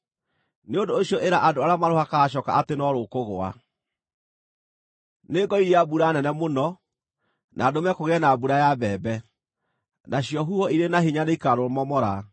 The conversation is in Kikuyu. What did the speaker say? nĩ ũndũ ũcio ĩra andũ arĩa marũhakaga coka atĩ no rũkũgũa. Nĩngoiria mbura nene mũno, na ndũme kũgĩe na mbura ya mbembe, nacio huho irĩ na hinya nĩikarũmomora.